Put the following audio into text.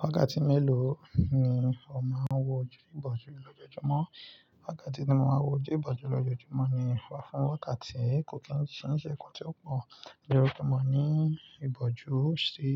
Wákàtí mélòó ni ó máa ń wọ ojú ìbòjú lójoojúmọ́? Wákàtí tí mo máa ń wọ ojú ìbòjú lójoojúmọ́ ni wà fún wákàtí kò kín ṣe kin ṣe nnkan tí ó pọ̀. Lójojúmọ́ ní ìbòjú ṣi